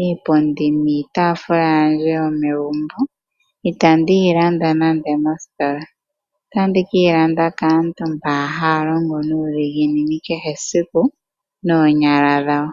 iipundi niitaafula yandje yomegumbo itandi yi landa mositola. Otandi ke yi landa kaantu mboka haya longo nuudhiginini kehesiku noonyala dhawo.